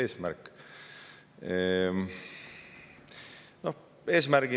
See on eesmärk.